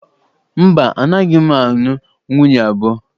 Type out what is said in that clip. Mba, anaghị m anụ nwunye abụọ